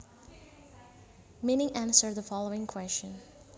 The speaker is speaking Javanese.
meaning Answer the following question